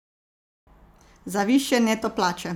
Za višje neto plače!